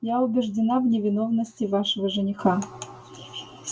я убеждена в невинности вашего жениха